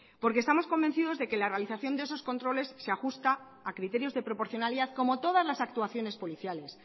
porque estamos convencidos de que la realización de esos controles se ajusta a criterios de proporcionalidad como todas las actuaciones policiales